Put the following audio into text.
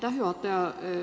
Aitäh, juhataja!